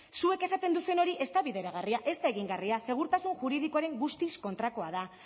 zuek esaten duzuen hori ez da bideragarria ez da egingarria segurtasun juridikoaren guztiz kontrakoa da